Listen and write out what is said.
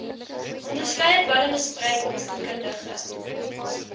onderskeie dwelmmisbruik opvoedkundige